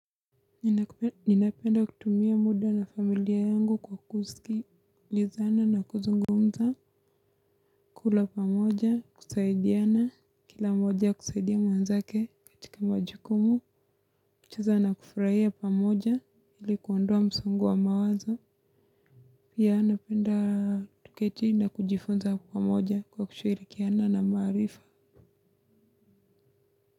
Ninapenda kutumia muda na familia yangu kwa kuzikilizana na kuzungumza, kula pa moja, kusaidiana, kila moja kusaidia mwenzake katika majukumu, kucheza na kufraia pamoja, ilikuondua msongo wa mawazo, pia napenda kuketi na kujifunza hapo pa moja kwa kushirikiana na marifa.